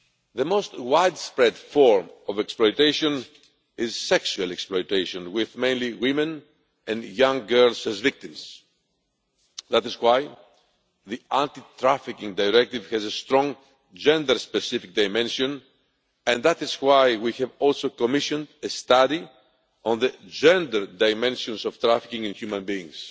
The most widespread form of exploitation is sexual exploitation, with mainly women and young girls as victims. That is why the Anti Trafficking Directive has a strong gender specific dimension, and that is why we have also commissioned a study on the gender dimensions of trafficking in human beings.